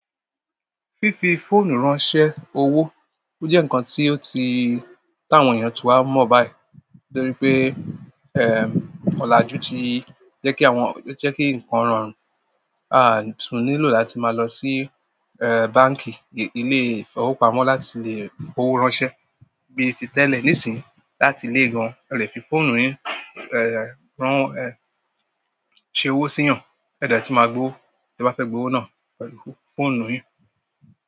Fífi fóònù ránṣẹ́ owó, ó jẹ́ ǹkan tí ó ti, tí àwọn èèyàn ti wá mọ̀ báyìí lórí pé, ẹm, ọlajú ti jẹ́kí àwọn, ó jẹ́kí ǹkan ro run à ń tún nílò láti máa lọ sí ẹ́ báǹkì, ilé ìfowópamọ́ láti lè fowó ránṣẹ́ bí ti tẹ́lẹ̀. Nísìnyí láti léègan, e lè fi fóònù yín ẹ́è ẹ́ rán ẹ́ ṣe owó sí eeyan èdè tun máa gbówo tí ẹ bá fẹ́ gbówó náà pẹ̀lú fóònù yín.